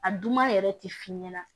A dunma yɛrɛ tɛ f'i ɲɛna